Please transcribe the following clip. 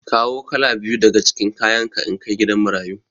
Kawo kala biyu daga cikin kayanka in kai gidan marayu.